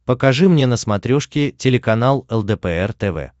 покажи мне на смотрешке телеканал лдпр тв